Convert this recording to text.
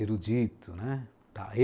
erudito, né? tá.